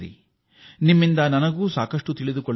ನಾನು ನಿಮ್ಮಿಂದ ಹಲವು ವಿಚಾರ ತಿಳಿಯುತ್ತೇನೆ